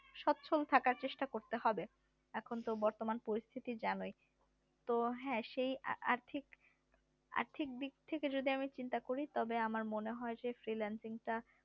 সচ্ছল থাকার চেষ্টা করতে হবে এখন তো বর্তমান পরিস্থিতি জানোই তো হ্যাঁ সেই আর্থিক আর্থিক দিক থেকে যদি আমি চিন্তা তবে আমার মনে হয় যে freelancing টা